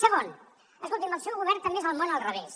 segon escolti’m el seu govern també és el món al revés